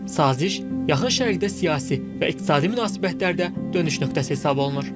Saziş Yaxın Şərqdə siyasi və iqtisadi münasibətlərdə dönüş nöqtəsi hesab olunur.